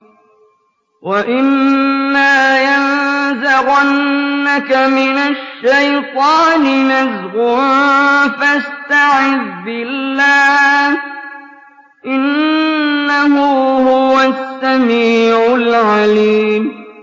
وَإِمَّا يَنزَغَنَّكَ مِنَ الشَّيْطَانِ نَزْغٌ فَاسْتَعِذْ بِاللَّهِ ۖ إِنَّهُ هُوَ السَّمِيعُ الْعَلِيمُ